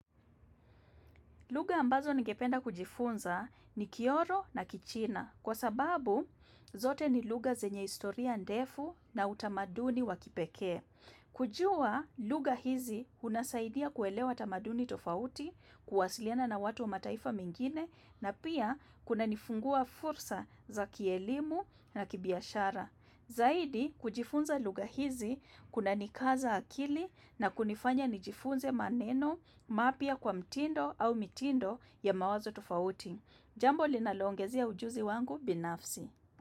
Lugha ambazo ningependa kujifunza ni kioro na kichina kwa sababu zote ni lugha zenye historia ndefu na utamaduni wa kipekee. Kujua lugha hizi unasaidia kuelewa utamaduni tofauti, kuwasiliana na watu wa mataifa mengine na pia kunanifungua fursa za kielimu na kibiashara. Zaidi kujifunza lugha hizi kuna nikaza akili na kunifanya nijifunze maneno mapya kwa mtindo au mitindo ya mawazo tofauti. Jambo linalo ongezea ujuzi wangu binafsi.